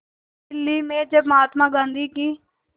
दिल्ली में जब महात्मा गांधी की